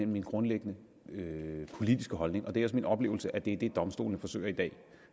min grundlæggende politiske holdning og det er min oplevelse at det er det domstolene forsøger i dag